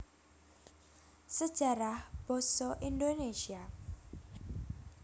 Sejarah Basa Indonesia